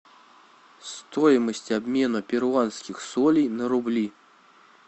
стоимость обмена перуанских солей на рубли